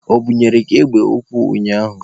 O bunyere gị egbe ukwu ụnyaahụ?